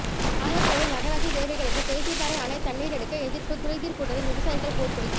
நாகர்கோவில் நகராட்சி தேவைகளுக்கு பேச்சிப்பாறை அணை தண்ணீர் எடுக்க எதிர்ப்பு குறைதீர் கூட்டத்தில் விவசாயிகள் போர்க்கொடி